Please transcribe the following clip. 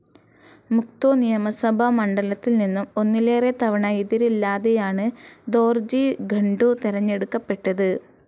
മുക്തോ നിയമസഭാ മണ്ഡലത്തിൽ നിന്നും ഒന്നിലേറെ തവണ എതിരില്ലാതെയാണ് ദോർജി ഖണ്ഡു തെരഞ്ഞെടുക്കപ്പെട്ടത്.